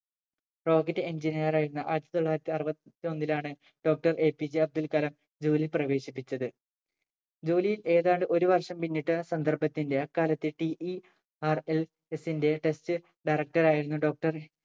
Rocket Engineer ആയിരുന്ന ആയിരത്തി തൊള്ളായിരത്തി അറുപ ത്തൊന്നിലാണ് Doctor APJ അബ്ദുൾകലാം ജോലിയിൽ പ്രവേശിപ്പിച്ചത് ജോലിയിൽ ഏതാണ്ട് ഒരു വർഷം പിന്നിട്ട സന്ദർഭത്തിന്റെ അക്കാലത്തെ TERLS ന്റെ Test Director ആയിരുന്നു doctor